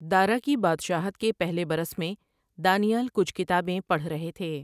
دارا کی بادشاہت کے پہلے برس میں، دانی ایل کچھ کتابیں پڑھ رہے تھے ۔